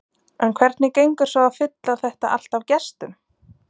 En hvernig gengur svo að fylla þetta allt af gestum?